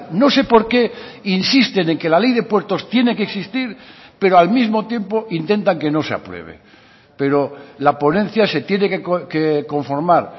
no sé porqué insisten en que la ley de puertos tiene que existir pero al mismo tiempo intentan que no se apruebe pero la ponencia se tiene que conformar